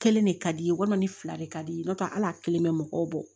Kelen de ka di ye walima ni fila de ka di i ye n'o tɛ ala kelen bɛ mɔgɔw bɔ